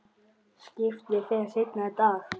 Skipið fer seinna í dag.